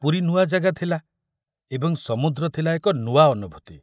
ପୁରୀ ନୂଆ ଜାଗା ଥିଲା ଏବଂ ସମୁଦ୍ର ଥିଲା ଏକ ନୂଆ ଅନୁଭୂତି।